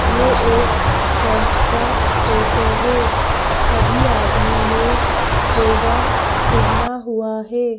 ये एक चर्च का फोटो है सभी आदमी ने चोगा पहना हुआ है।